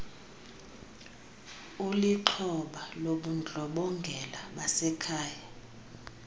ulixhoba lobundlobongela basekhaya